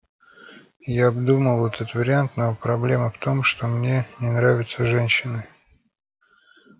я обдумывал этот вариант но проблема в том что мне не нравятся женщины